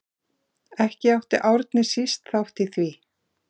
Ekki átti Árni síst þátt í því.